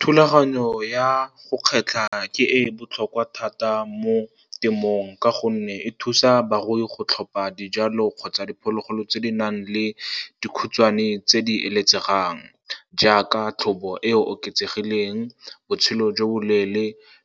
Thulaganyo ya go kgetlha ke e e botlhokwa thata mo temong, ka gonne e thusa barui go tlhopha dijalo kgotsa diphologolo tse di nang le dikhutshwane tse di eletsegang, jaaka tlhobo e e oketsegileng, botshelo jo bo leele,